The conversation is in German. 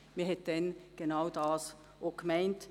Man hat damals genau das gemeint.